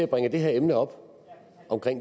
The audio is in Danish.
bringer det her emne op om